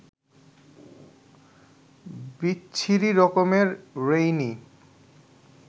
বিচ্ছিরি রকমের রেইনি